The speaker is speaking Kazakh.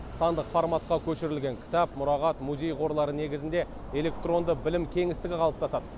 сандық форматқа көшірілген кітап мұрағат музей қорлары негізінде электронды білім кеңістігі қалыптасады